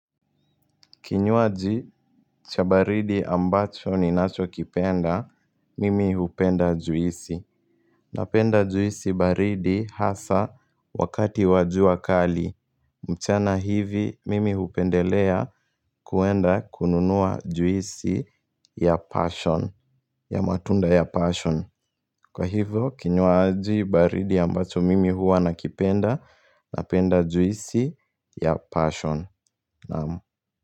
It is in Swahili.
Kinywaji cha baridi ambacho ninacho kipenda, mimi hupenda juisi. Napenda juisi baridi hasa wakati wa jua kali. Mchana hivi, mimi hupendelea kuenda kununua juisi ya passion, ya matunda ya passion. Kwa hivyo, kinyuaji baridi ambacho mimi hua nakipenda, napenda juisi ya passion. Naamu.